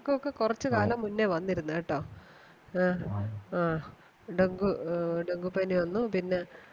ഇവർക്കൊക്കെ കുറച്ചുകാലം മുന്നേ വന്നിരുന്നു കേട്ടോ ആ dengue dengue പനി വന്നു പിന്നെ